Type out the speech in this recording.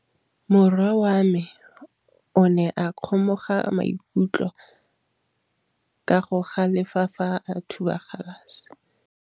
Morwa wa me o ne a kgomoga maikutlo ka go galefa fa a thuba galase.